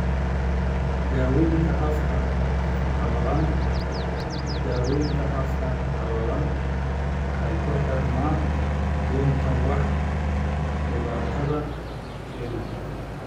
Daawaynta Afka Qalalan Daawaynta afka qalalan waxay ku xirnaan doontaa waxa dhibaatada keenaya.